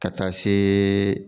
Ka taa see